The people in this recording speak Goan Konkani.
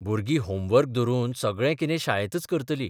भुरगीं होमवर्क धरून सगळें कितें शाळेतच करतली.